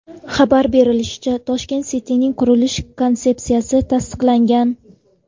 Xabar berishlaricha, Tashkent City’ning qurilish konsepsiyasi tasdiqlangan.